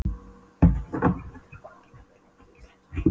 Þóroddur, hvað er opið lengi í Íslandsbanka?